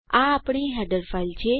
આ આપણી header file છે